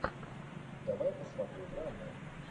давай посмотрю драму